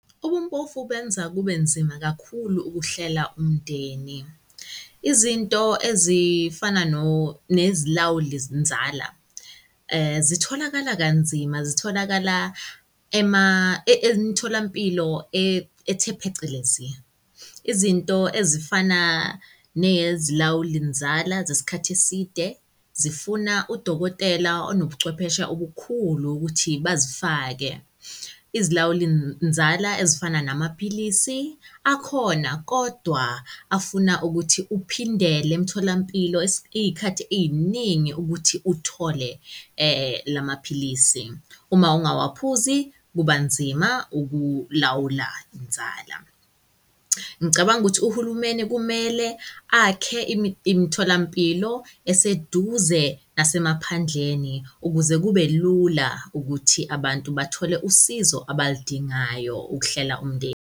Ubumpofu benza kube nzima kakhulu ukuhlela umndeni. Izinto ezifana nezilawuli-nzala zitholakala kanzima, zitholakala emtholampilo ethe phecelezi. Izinto ezifana nezilawuli-nzala zesikhathi eside zifuna udokotela onobuchwepheshe obukhulu ukuthi bazifake izilawuli-nzala ezifana namaphilisi akhona. Kodwa afuna ukuthi uphindele emtholampilo iy'khathi ey'ningi ukuthi uthole la maphilisi. Uma ungawaphuzi, kuba nzima ukulawula inzala. Ngicabanga ukuthi uhulumeni kumele akhe imitholampilo eseduze nasemaphandleni ukuze kube lula ukuthi abantu bathole usizo abaludingayo ukuhlela umndeni.